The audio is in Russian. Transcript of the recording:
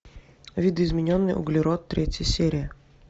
видоизмененный углерод третья серия